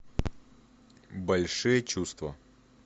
большие чувства